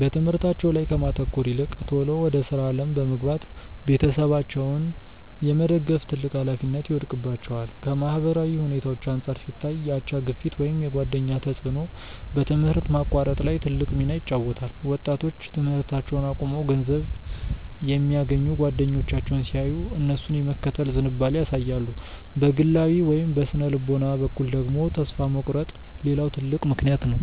በትምህርታቸው ላይ ከማተኮር ይልቅ ቶሎ ወደ ሥራ ዓለም በመግባት ቤተሰባቸውን የመደገፍ ትልቅ ኃላፊነት ይወድቅባቸዋል። ከማህበራዊ ሁኔታዎች አንጻር ሲታይ፣ የአቻ ግፊት ወይም የጓደኛ ተጽዕኖ በትምህርት ማቋረጥ ላይ ትልቅ ሚና ይጫወታል። ወጣቶች ትምህርታቸውን አቁመው ገንዘብ የሚያገኙ ጓደኞቻቸውን ሲያዩ፣ እነሱን የመከተል ዝንባሌ ያሳያሉ። በግላዊ ወይም በሥነ-ልቦና በኩል ደግሞ፣ ተስፋ መቁረጥ ሌላው ትልቅ ምክንያት ነው።